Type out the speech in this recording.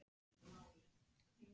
Við horfðum á hann aum og vonsvikin.